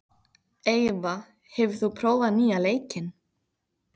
Eyva, hefur þú prófað nýja leikinn?